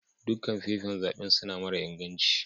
Dukan fefan zaben suna mara inganci.